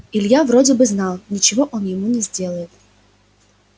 илья вроде бы знал ничего он ему не сделает